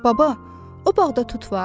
Baba, o bağda tut var?